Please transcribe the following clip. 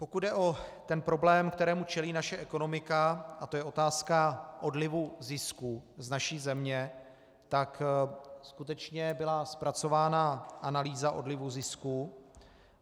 Pokud jde o ten problém, kterému čelí naše ekonomika, a to je otázka odlivu zisků z naší země, tak skutečně byla zpracována analýza odlivu zisků.